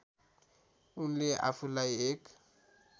उनले आफूलाई एक